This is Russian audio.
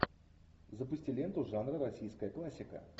запусти ленту жанра российская классика